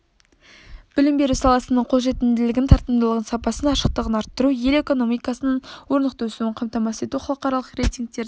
білім беру саласының қолжетімділігін тартымдылығын сапасын ашықтығын арттыру ел экономикасының орнықты өсуін қамтамасыз ету халықаралық рейтингтердің